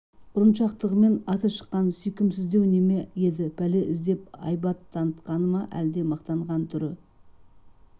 ұрыншақтығымен аты шыққан сүйкімсіздеу неме еді пәле іздеп айбат танытқаны ма әлде мақтанған түр